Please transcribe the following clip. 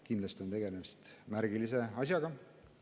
Kindlasti on tegemist märgilise asjaga.